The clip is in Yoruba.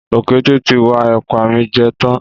Ọ̀kété ti wa èpà mi je tán